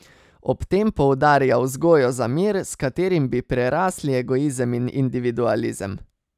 Ob tem poudarja vzgojo za mir, s katerim bi prerasli egoizem in individualizem.